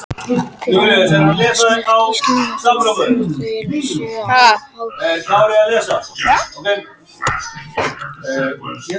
Stríð hafa líka snert Íslendinga þó svo að þau séu háð úti í heimi.